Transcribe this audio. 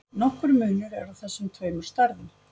Nokkur munur er á þessum tveimur stærðum.